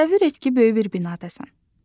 Təsəvvür et ki, böyük bir binadasan.